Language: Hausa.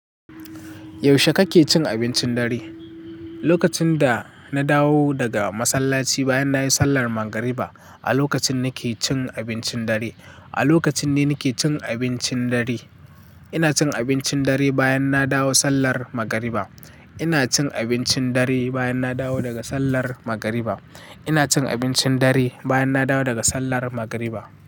Yaushe kake cin abincin dare? Lokacin da na dawo daga masallaci bayan nayi sallar magriba a lokacin nake cin abincin dare. A lokacin ne nake cin abincin dare. Ina cin abincin dare bayan na dawo sallar magariba. Ina cin abincin dare bayan na dawo daga sallar magariba. Ina cin abincin dare bayan na dawo daga sallar magariba.